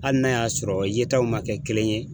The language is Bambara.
Hali n'a y'a sɔrɔ yetaw ma kɛ kelen ye